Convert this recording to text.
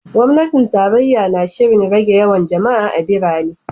Gwamnatin tarayya na shirin rage yawan jama’a a birane.